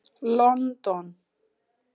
Lon don.